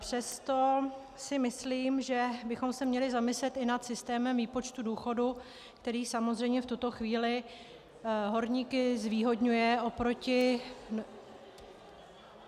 Přesto si myslím, že bychom se měli zamyslet i nad systémem výpočtu důchodu, který samozřejmě v tuto chvíli horníky zvýhodňuje oproti...